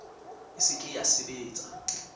e se ke ya sebetsa